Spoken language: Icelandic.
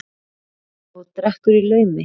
Og drekkur í laumi.